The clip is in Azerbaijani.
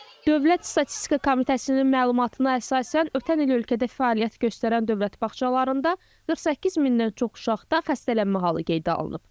Dövlət Statistika Komitəsinin məlumatına əsasən, ötən il ölkədə fəaliyyət göstərən dövlət bağçalarında 48 mindən çox uşaqda xəstələnmə halı qeydə alınıb.